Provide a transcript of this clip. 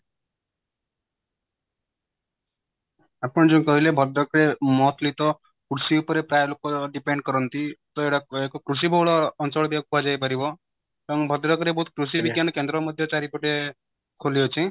ଆପଣ ଯୋଉ କହିଲେ ଭଦ୍ରକ ରେ mostly ତ କୃଷି ଉପରେ ପ୍ରାୟ ଲୋକ depend କରନ୍ତି ତ ଏହାକୁ କୃଷି ବୋହୁଳ ଅଞ୍ଚଳ ବି ୟାକୁ କୁହାଯାଇ ପାରିବ କାରଣ ଭଦ୍ରକ ରେ ବୋହୁତ କୃଷି ବିଜ୍ଞାନୀ କେନ୍ଦ୍ର ମଧ୍ୟ ଚାରିପଟେ ଖୋଲିଅଛି